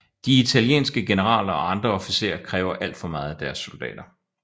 De italienske generaler og andre officerer kræver alt for meget af deres soldater